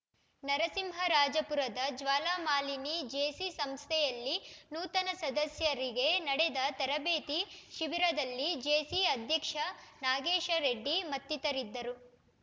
ನರಸಿಂಹರಾಜಪುರದ Jwalamalini JC ಸಂಸ್ಥೆಯಲ್ಲಿ ನೂತನ ಸದಸ್ಯರಿಗೆ ನಡೆದ ತರಬೇತಿ ಶಿಬಿರದಲ್ಲಿ ಜೇಸಿ ಅಧ್ಯಕ್ಷ ನಾಗೇಶರೆಡ್ಡಿ ಮತ್ತಿತರರಿದ್ದರು